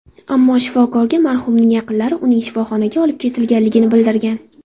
Ammo shifokorga marhumning yaqinlari uning shifoxonaga olib ketilganligini bildirgan.